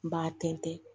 N b'a tɛntɛn